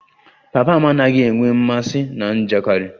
Papa m anaghị enwe mmasị na njakịrị